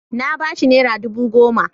Na ba shi nera dubu goma.